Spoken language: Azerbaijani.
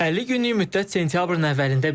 50 günlük müddət sentyabrın əvvəlində bitir.